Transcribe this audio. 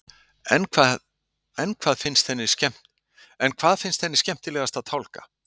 En hvað finnst henni skemmtilegast að tálga?